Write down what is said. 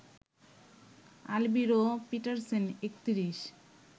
Alviro Petersen ৩১